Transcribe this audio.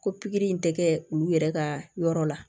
Ko pikiri in tɛ kɛ olu yɛrɛ ka yɔrɔ la